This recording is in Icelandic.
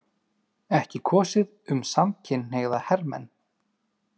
Ekki kosið um samkynhneigða hermenn